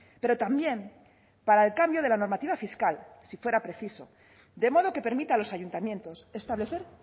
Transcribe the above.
pero también para el cambio de la normativa fiscal si fuera preciso de modo que permita a los ayuntamientos establecer